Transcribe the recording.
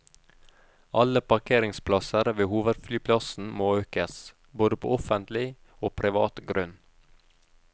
Alle parkeringsplasser ved hovedflyplassen må økes, både på offentlig og privat grunn.